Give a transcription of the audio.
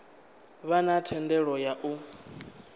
vha na thendelo ya u